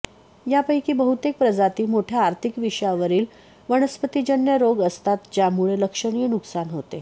यांपैकी बहुतेक प्रजाती मोठ्या आर्थिक विषयावरील वनस्पतिजन्य रोग असतात ज्यामुळे लक्षणीय नुकसान होते